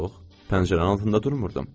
Yox, pəncərənin altında durmurdum.